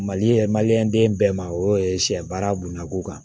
Mali ye den bɛɛ ma o ye sɛ baara bunako kan